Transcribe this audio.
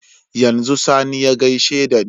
Yanzu sani ya gaishe dani